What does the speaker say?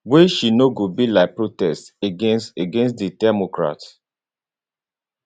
wey she know go be like protest against against di democrats